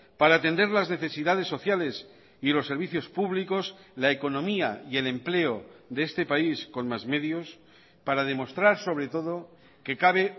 para atender las necesidades sociales y los servicios públicos la economía y el empleo de este país con más medios para demostrar sobre todo que cabe